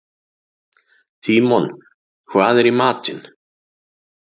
Tímon, hvað er í matinn?